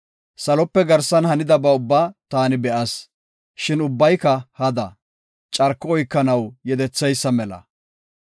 Salope garsan hanidaba ubbaa taani be7as; shin ubbayka hada; carko oykanaw yedetheysa mela.